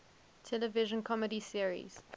television comedy series